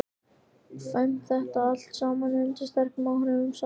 kvæmt þetta allt saman undir sterkum áhrifum Sævars.